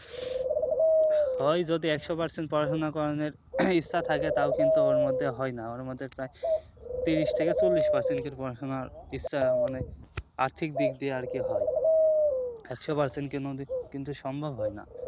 হয় যদি একশো percent পড়াশোনা করা নিয়ে ইচ্ছে থাকে তাও কিন্তু ওর মধ্যে হয় না ওর মধ্যে প্রায় তিরিশ থেকে চল্লিশ percent লোকের পড়াশোনার ইচ্ছে অনেক আর্থিক দিক দিয়ে আরকি হয় একশো percent কিন্তু সম্ভব হয় না